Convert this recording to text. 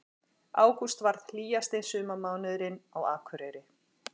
Ágúst varð hlýjasti sumarmánuðurinn á Akureyri